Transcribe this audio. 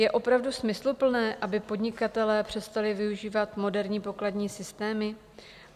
Je opravdu smysluplné, aby podnikatelé přestali využívat moderní pokladní systémy?